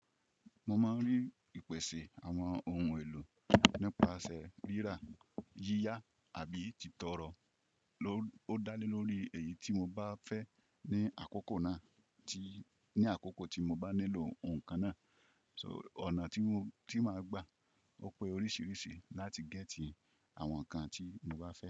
Mo máa ń rí ìpèsè àwọn ohun èlò nípasẹ̀ fírá, yíyá àbí tìtọrọ. O dá lé lórí èyí tí mo bá fẹ́ ní àkókò náà tí, ní àkókò tí mo bá nílò ohun kan náà. So ọ̀nà tí mo, tí máa gbà ó pé oríṣiríṣi láti gẹ́tì àwọn nǹkan tí mo bá fẹ́